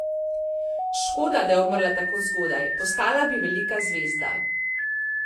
Škoda, da je umrla tako zgodaj, postala bi velika zvezda.